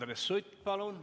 Andres Sutt, palun!